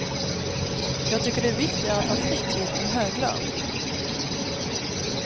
Jag tycker det är viktigare att ha fritid än hög lön.